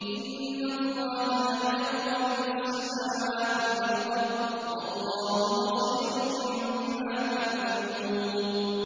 إِنَّ اللَّهَ يَعْلَمُ غَيْبَ السَّمَاوَاتِ وَالْأَرْضِ ۚ وَاللَّهُ بَصِيرٌ بِمَا تَعْمَلُونَ